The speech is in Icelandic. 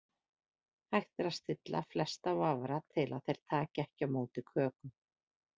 Hægt er að stilla flesta vafra til að þeir taki ekki á móti kökum.